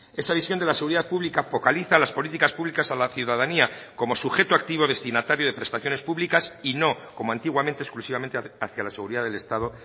esa visión de la seguridad pública focaliza las políticas públicas a la ciudadanía como sujeto activo destinatario de prestaciones públicas y no como antiguamente exclusivamente hacia la seguridad del estado